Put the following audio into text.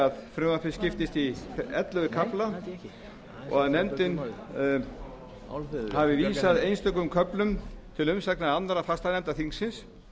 að frumvarpið skiptist í ellefu kafla og að nefndin hafi vísað einstökum köflum til umsagnar annarra fastanefnda þingsins